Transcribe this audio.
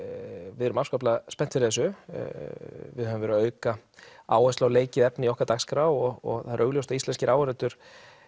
við erum afskaplega spennt fyrir þessu við höfum verið að auka áherslu á leikið efni í okkar dagskrá og það er augljóst að íslenskir áhorfendur